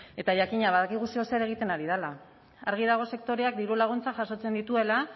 eta jakina badakigu zer edo zer egiten ari dela argi dago sektoreak diru laguntzak jasotzen dituela